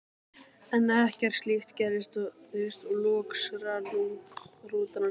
En ekkert slíkt gerðist og loks rann rútan af stað.